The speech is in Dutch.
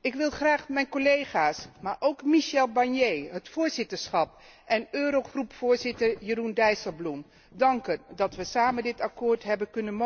Ik wil graag mijn collega's, maar ook Michel Barnier, het voorzitterschap en Eurogroepvoorzitter Jeroen Dijsselbloem danken dat wij samen dit akkoord mogelijk hebben kunnen